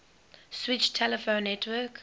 switched telephone network